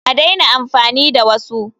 A daina amfani da wasu!